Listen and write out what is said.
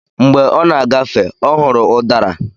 Mgbé ọ na-agafe, ọ hụrụ udara